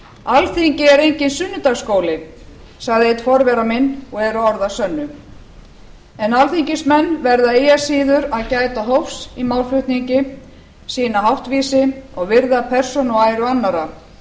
alþingi er enginn sunnudagaskóli sagði einn forvera minna og eru orð að sönnu en alþingismenn verða eigi að síður að gæta hófs í málflutningi sýna háttvísi og virða persónu og æru annarra